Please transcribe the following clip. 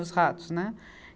Os ratos, né?